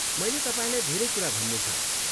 मैले तपाईँलाई धेरै कुरा भन्नु छ।